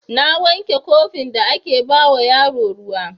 Na wanke kofin da ake ba wa yaro ruwa.